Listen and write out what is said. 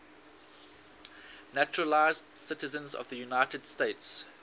naturalized citizens of the united states